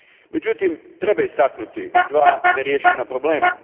Međutim, treba istaknuti dva neriješena problema.